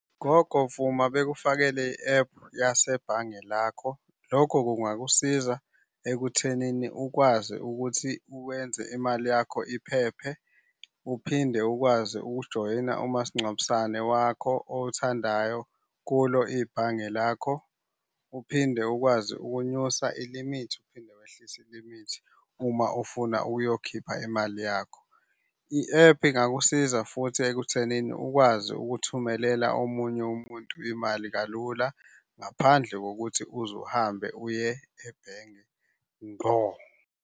Gogo, vuma bekufakele i-ephu yasebhange lakho. Lokho kungakusiza ekuthenini ukwazi ukuthi wenze imali yakho iphephe. Uphinde ukwazi ukujoyina umasingcwabisane wakho owuthandayo kulo ibhange lakho. Uphinde ukwazi ukunyusa ilimithi uphinde wehlise ilimithi uma ufuna ukuyokhipha imali yakho. I-ephu ingakusiza futhi ekuthenini ukwazi ukuthumelela omunye umuntu imali kalula, ngaphandle kokuthi uze uhambe uye ebhenge ngqo.